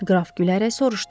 Qraf gülərək soruşdu.